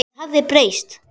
Það hafði breyst.